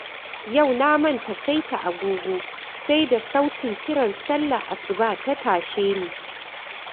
Yau na manta saita agogo, sai da sautin kiran sallar asuba ta tashe ni.